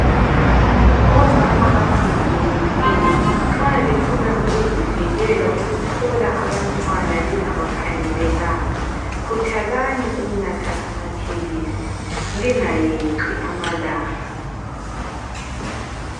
Omama abangamunyisiyo nxa lifuna ukuzivikela ukuthola abantwana lingabakhangelelanga, khuthalani ukunatha amaphilisi lingayeqi amalanga.